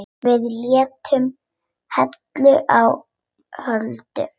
Við lentum heilu og höldnu.